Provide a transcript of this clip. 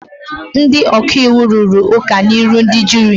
Ndị ọka iwu rụrụ ụka n'ihu ndị juri.